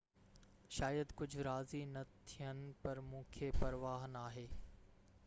شايد ڪجهہ راضي نہ ٿين پر مونکي پرواه ناهي